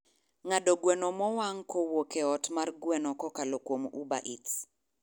ng'ado gweno mowang' kowuok e ot mar gweno kokalo kuom ubereats